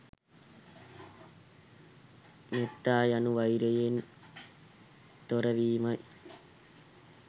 මෙත්තා යනු වෛරයෙන් තොරවීමයි.